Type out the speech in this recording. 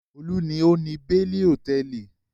Olú ni ó ni Beni Hòtẹ́ẹ́lì.